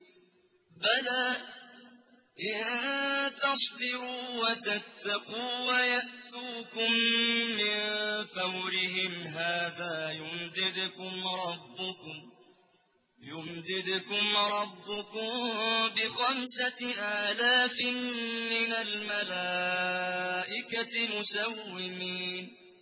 بَلَىٰ ۚ إِن تَصْبِرُوا وَتَتَّقُوا وَيَأْتُوكُم مِّن فَوْرِهِمْ هَٰذَا يُمْدِدْكُمْ رَبُّكُم بِخَمْسَةِ آلَافٍ مِّنَ الْمَلَائِكَةِ مُسَوِّمِينَ